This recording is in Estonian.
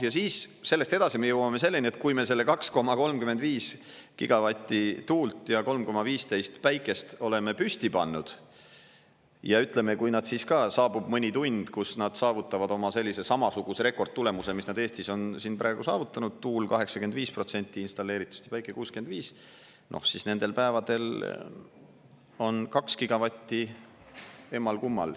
Ja siis sellest edasi me jõuame selleni, et kui me selle 2,35 gigavatti tuult ja 3,15 gigavatti päikest oleme püsti pannud, ja ütleme, kui nad siis ka, saabub mõni tund, kus nad saavutavad oma sellise samasuguse rekordtulemuse, mis nad Eestis on siin praegu saavutanud: tuul 85% installeeritud ja päike 65%, siis nendel päevadel on 2 gigavatti emmal-kummal.